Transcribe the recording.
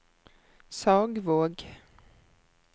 Sagvåg